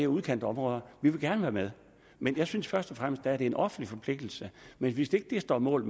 udkantsområderne vi vil gerne være med men jeg synes først og fremmest at det er en offentlig forpligtelse hvis ikke det står mål